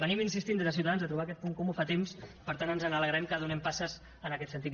insistim des de ciutadans a trobar aquest comú fa temps per tant ens n’alegrem que donem passes en aquest sentit